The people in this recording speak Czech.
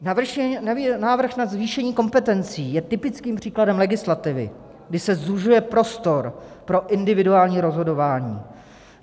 Návrh na zvýšení kompetencí je typickým příkladem legislativy, kdy se zužuje prostor pro individuální rozhodování.